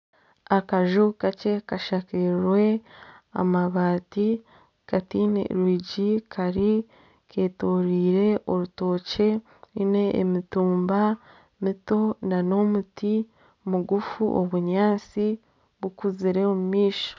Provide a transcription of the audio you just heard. Akaju kakye kashakirwe amabati kataine rwigi ketoreirwe Orutookye rwine emitumba mito nana omuti mugufu , obunyaantsi bukuzire omu maisho.